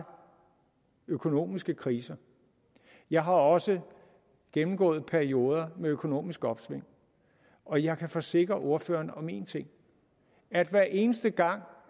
økonomiske kriser jeg har også gennemgået perioder med økonomisk opsving og jeg kan forsikre ordføreren om en ting at hver eneste gang